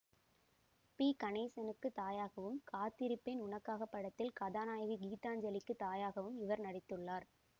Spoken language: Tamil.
பி கணேசனுக்குத் தாயாகவும் காத்திருப்பேன் உனக்காக படத்தில் கதாநாயகி கீதாஞ்சலிக்குத் தாயாகவும் இவர் நடித்துள்ளார்